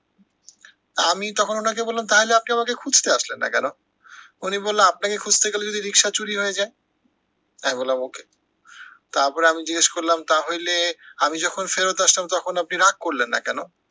তা আমি তখন উনাকে বললাম তাইলে আপনি আমাকে খুঁজতে আসলেন না কেন? উনি বললো আপনাকে খুঁজতে গেলে যদি রিক্সা চুরি হয়ে যায়। আমি বললাম okay । তারপরে আমি জিজ্ঞেস করলাম তা হইলে, আমি যখন ফেরত আসলাম তখন আপনি রাগ করলেন না কেন?